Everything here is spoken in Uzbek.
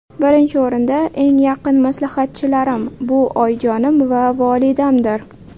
Birinchi o‘rinda eng yaqin maslahatchilarim, bu oyijonim va volidamdir.